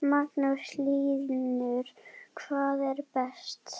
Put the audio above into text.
Magnús Hlynur: Hvað er best?